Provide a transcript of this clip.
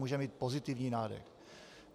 Může mít pozitivní nádech.